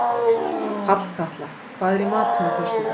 Hallkatla, hvað er í matinn á föstudaginn?